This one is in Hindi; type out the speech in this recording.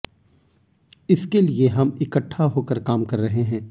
इसके लिए हम इकट्ठा होकर काम कर रहे हैं